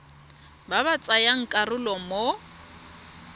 ba ba tsayang karolo mo